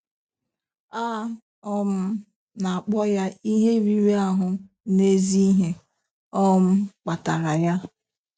A um na-akpọ ya ihe riri ahụ na ezi ihe um kpatara ya.